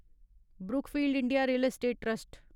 Brookfield India real estate trust